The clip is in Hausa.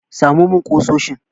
Samo min ƙusoshin!